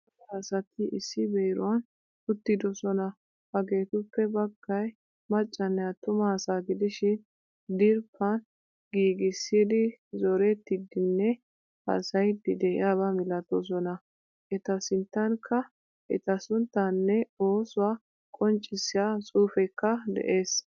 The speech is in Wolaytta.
Cora asati issi beeruwan uttidosona. Hagettuppe baggay maccanne attuma asaa gidishin diriphphan giigisidi zorettidinne haasayidi de'iyaba milatosona. Eta sinttankka eta sunttanne oosuwaa qonccisiya xuufekka de'ees.